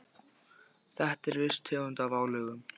Þetta er viss tegund af álögum.